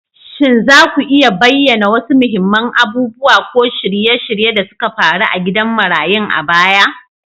Shin za ku iya bayyana wasu muhimman abubuwa ko shirye-shirye da suka faru a gidan marayun a baya?